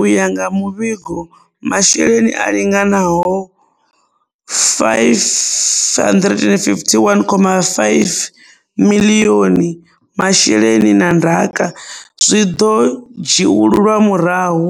U ya nga muvhigo, masheleni a linganaho R551.5 miḽioni masheleni na ndaka zwi ḓo dzhiululwa murahu,